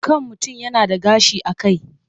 Kan mutum yana da gashi a kai.